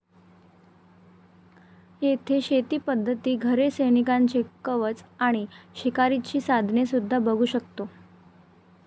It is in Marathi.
येथे शेतीपद्धती, घरे, सैनिकांचे कवच आणि शिकारीची साधने सुद्धा बघू शकतो.